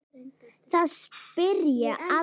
Það spjarar sig alltaf.